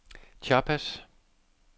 Chiapas